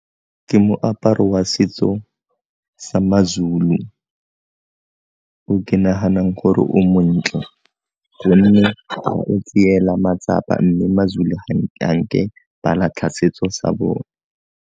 Ke moaparo wa setso sa maZulu o ke naganang gore o montle, gonne o tseelwa matsapa mme maZulu ga nke ba latlha setso sa bone.